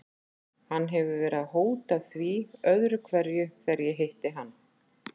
Hann hefur verið að hóta því öðru hverju þegar ég hitti hann.